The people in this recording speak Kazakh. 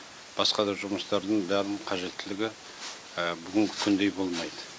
басқа да жұмыстардың бәрінің қажеттілігі бүгінгі күндей болмайды